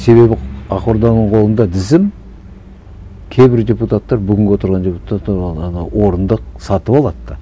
себебі ақ орданың қолында тізім кейбір депутаттар бүгінгі отырған депутаттар оны ана орынды сатып алады да